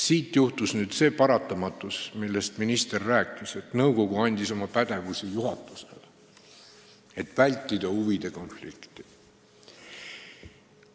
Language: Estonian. Siit tulenes see paratamatus, millest minister rääkis, et nõukogu andis oma pädevust juhatusele üle, et huvide konflikti vältida.